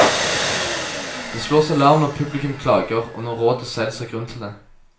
Det slås alarm når publikum klager, og når rådet selv ser grunn til det.